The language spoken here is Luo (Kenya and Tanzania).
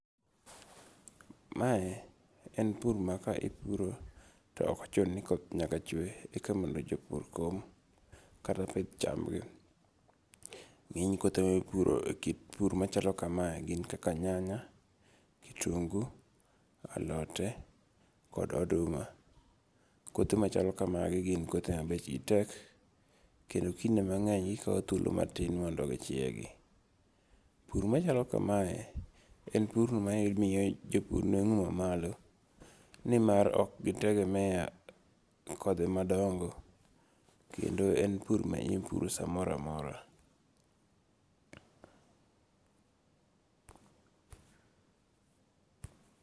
Mae en pur ma ka ipuro to okochuno ni koth nyaka chwe eka mondo japur kom kata pith chamgi, nge'ny koth puro ekit pur machalo kamae gin kaka nyanya, kitungu, alote kod oduma. Kothe machalo kamagi gin kothe ma bechgi tek, kendo kinde mange'ny gikawo thuolo matin mondo gichiegi, pur machalo kamae en purno mamiyo jopur nuango' nuengo' mamlo nimar ok gitegemea kothe madonge' kendo en pur minyalo puro samoro amora.